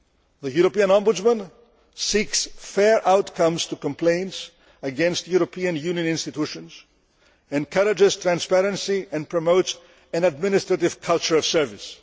The European Ombudsman seeks fair outcomes to complaints against European Union institutions, encourages transparency and promotes an administrative culture of service.